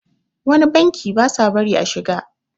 wani banki ba sa bari a shiga